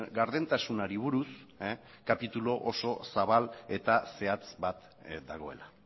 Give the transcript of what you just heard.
gardentasunari buruz kapitulu oso zabal eta zehatz bat dagoela